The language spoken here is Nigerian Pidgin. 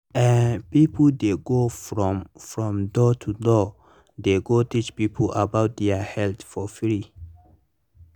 ah people dey go from from door to door they go teach people about their health for free.